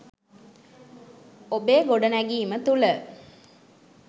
ඔබේ ගොඩනැගීම තුළ